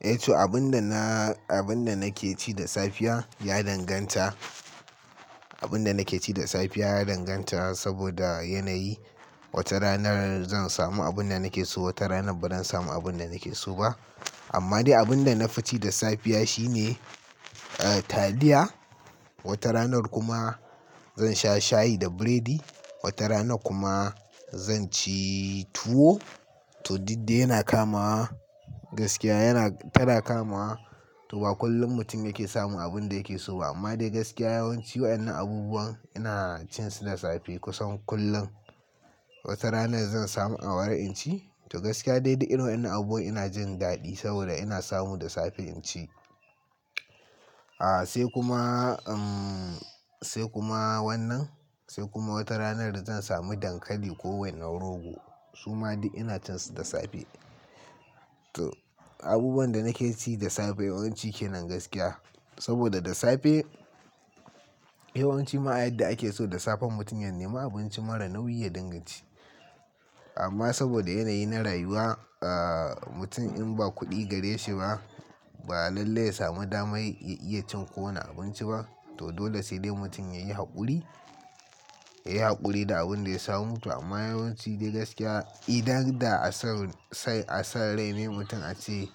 Eh to abin da na, abin da nake ci da safiya ya danganta. Abin da nake ci da safiya ya danganta saboda yanayi. Wata rana zan samu abun da nake so, wata rana bazan samu abun da nake so ba. Amma dai abun da na fi ci da safiya shi ne taliya. Wata ranar kuma zan sha shayi da burodi. Wata ranar kuma zan ci tuwo. To duk dai yana kamawa gaskiya tana kama. To ba kullum mutum yake samun abun da yake so ba amma dai gaskiya yawanci waɗannan abubuwan ina cin su da safe kusan kullum. Wata rana zan samu awara in ci to gaskiya dai duk irin waɗannan abubuwan ina jin daɗi saboda ina samu da safe in ci. Sai kuma, sai kuma wannan sai kuma wata ranar da zan sami dankali ko wainar rogo su ma duk ina cin su da safe. To abubuwan da nake ci da safe yawanci kenan gaskiya saboda da safe yawanci ma a yadda ake so da safe mutum ya nemi abinci marar nauyi ya dinga ci. Amma saboda yanayi na rayuwa mutum in ba kuɗi gare shi ba, ba lallai ya samu damar ya iya cin kowane abinci ba. To dole sai dai mutum ya yi haƙuri, ya yi haƙuri da abun da ya samu. To amma yawanci dai gaskiya idan da a son rai ne mutum a ce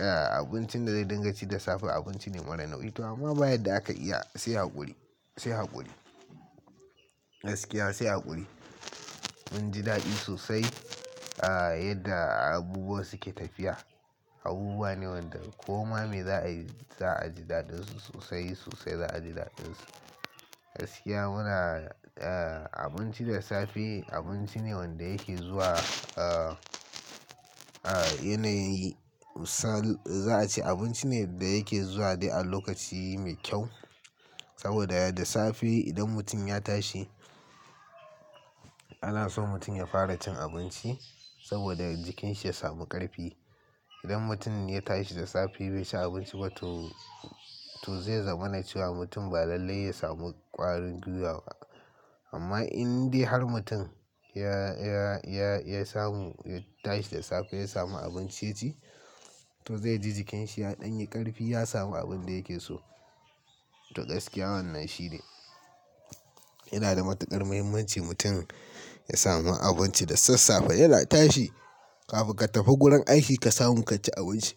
abincin da zai dinga ci da safe abinci ne marar nauyi. To amma ba yanda aka iya sai haƙuri, sai haƙuri. Gaskiya sai haƙuri. Mun ji daɗi sosai yadda abubuwa suke tafiya. Abubuwa ne waɗanda ko ma me za a yi za a ji daɗin su sosai sosai za a ji daɗin su. Gaskiya muna abinci da safe abinci ne wanda yake zuwa yanayi misali za a ce abinci ne da yake zuwa dai a lokaci mai kyau saboda da safe idan mutum ya tashi ana so mutum ya fara cin abinci saboda jikin shi ya samu ƙarfi. Idan mutum ya tashi da safe bai ci abinci ba to, to zai zama na cewa mutum ba lallai ya samu ƙwarin gwiwawa. Amma in dai har mutum ya samu ya tashi da safe ya samu abinci ya ci to zai ji jikin shi ya ɗan yi ƙarfi ya samu abin da yake so. To gaskiya wannan shi ne yana da matuƙar muhimmanci mutum ya samu abinci da sassafe yana tashi kafin ka tafi gurin aiki ka samu ka ci abinci.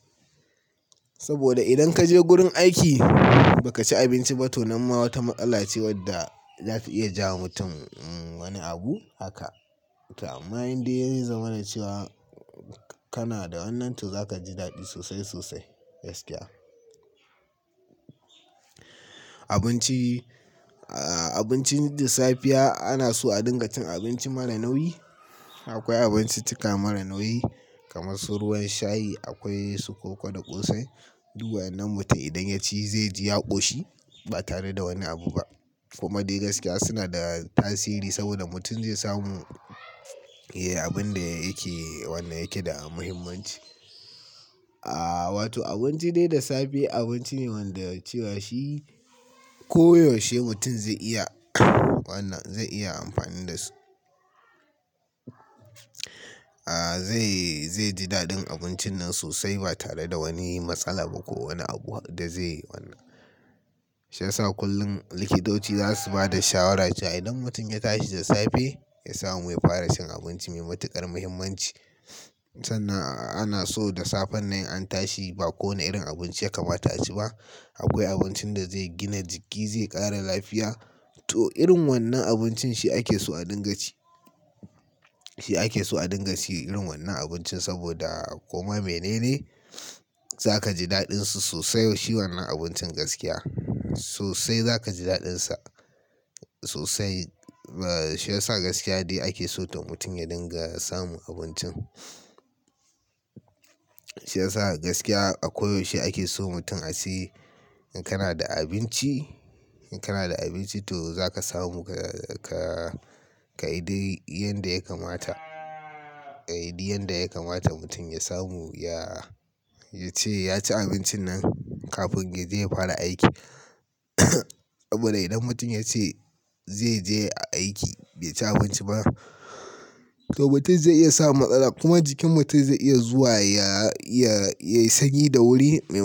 Saboda idan ka je gurin aiki ba ka ci abinci ba to nan ma wata matsala ce wadda za ta iya jawowa mutum wani abu haka. To amma in dai ya zama na cewa kana da wannan to zaka ji daɗi sosai sosai gaskiya. Abinci, abinci da safiya ana so a dinga cin abinci mara nauyi. Akwai abinccika marar nauyi kamar su ruwan shayi, akwai su koko da ƙosai. Duk waɗannan mutum idan ya ci zai ji yaɓo shi ba tare da wani abu ba. Kuma dai gaskiya suna da tasiri saboda mutum zai samu ya yi abun da yake da muhimmanci. Wato abinci dai da safe abinci ne wanda cewa shi ko yaushe mutum zai iya wannan zai iya amfani da su. Zai ji daɗin abincin nan sosai ba tare da wani matsala ba ko wani abu da zai yi wannan. Shiyasa kullum likitoci za su ba da shawara cewa idan mutum ya tashi da safe ya samu ya fara cin abinci mai matuƙar muhimmanci. Sannan ana so da safen nan in an tashi ba kowane irin abinci ya kamata a ci ba. Akwai abincin da zai gina jiki zai ƙara lafiya. To irin wannan abincin shi ake so a dinga ci. Shi ake so a dinga ci irin wannan abincin saboda koma me ne ne za ka ji daɗin su sosai shi wannan abincin gaskiya. Sosai za ka ji daɗin sa sosai. Shiyasa gaskiya dai ake so to mutum ya dinga samun abincin. Shiyasa gaskiya a koyaushe ake so mutum a ce in kana da abinci, in kana da abinci to za ka samu ka yi dai yanda ya kamata. Ka yi duk yadda ya kamata mutum ya samu ya ce ya ci abincin nan kafin ya je ya fara aiki. Saboda idan mutum ya ce zai je aiki bai ci abinci ba to mutum zai iya samun matsala kuma jikin mutum zai iya zuwa ya yi sanyi da wuri maimakon.